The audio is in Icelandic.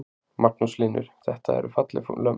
Magnús Hlynur: Þetta eru falleg lömb?